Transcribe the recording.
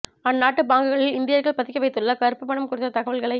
அந் நாட்டு பாங்குகளில் இந்தியர்கள் பதுக்கி வைத்துள்ள கறுப்பு பணம் குறித்த தகவல்களை